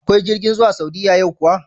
Akwai jirgin zuwa Saudiya yau kuwa?